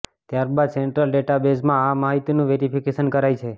ત્યારબાદ central data બેઝમાં આ માહિતીનું વેરિફિકેશન કરાય છે